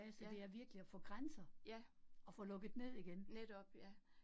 Ja, ja, netop ja